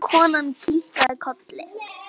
Konan kinkaði kolli.